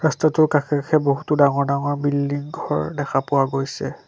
ৰাস্তাটোৰ কাষে কাষে বহুতো ডাঙৰ ডাঙৰ বিল্ডিং ঘৰ দেখা পোৱা গৈছে।